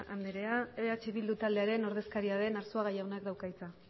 anderea eh bildu taldearen ordezkaria den arzuaga jaunak dauka hitza